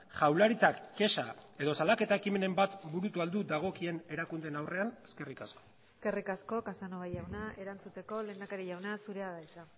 jaurlaritzak kexa edo salaketa ekimenen bat burutu al du dagokien erakundeen aurrean eskerrik asko eskerrik asko casanova jauna erantzuteko lehendakari jauna zurea da hitza